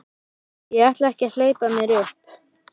Ég ætla ekki að hleypa mér upp.